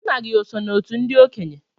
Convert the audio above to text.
Nna gị oso n'òtù ndị okenye?